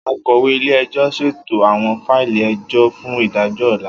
Akọwe ile-ẹjọ ṣeto awọn faili ẹjọ fun idajọ ọla.